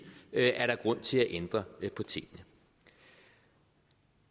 er der grund til at ændre på tingene